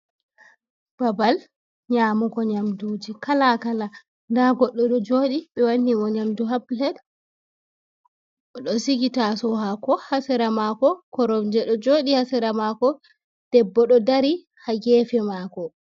Babal nyamugo nyamɗuji kalakala. Nɗa goɗɗo ɗo joɗi be wannimo nyamɗu ha pilet. Oɗo sigi tasou hako ha sera mako. Koromje ɗo joɗi ha sera mako. Ɗebbo ɗo ɗari ha gefe mako.